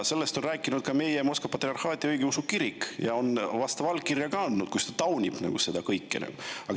Sellest on rääkinud ka Moskva Patriarhaadi Õigeusu Kirik, kes on andnud ka vastava allkirja, sest ta taunib seda kõike.